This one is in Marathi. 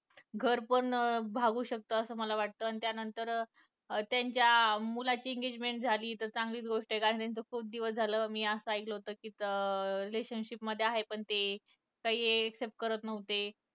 घर पण भागू शकतं असं मला वाटतं त्या नंतर अं त्यांच्या मुलाची engagement झाली तर चांगलीच गोष्ट कारण त्यांचं खुप दिवस झालं मी असं ऐकलं होत कि अं ते relationship मध्ये आहे पण ते काही accept करत नव्हते